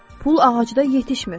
Pul ağacda yetişmir.